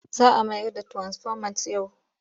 Za a mayar da tirasifomat yau.